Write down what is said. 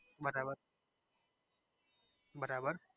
બરાબર બરાબર બરાબર